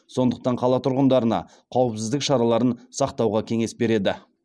сондықтан қала тұрғындарына қауіпсіздік шараларын сақтауға кеңес береді